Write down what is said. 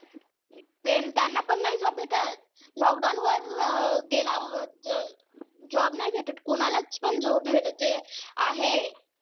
त्यांना पण नाय job भेटत. lockdown वर गेला कोणालाच job नाय भेटत. जे आहे,